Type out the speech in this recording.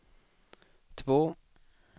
två